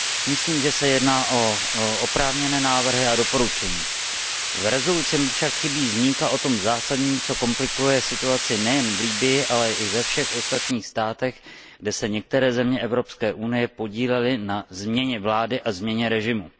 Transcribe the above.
Myslím, že se jedná o oprávněné návrhy a doporučení. V usnesení mi však chybí zmínka o tom zásadním, co komplikuje situaci nejen v Libyi, ale i ve všech ostatních státech, kde se některé země Evropské unie podílely na změně vlády a změně režimu.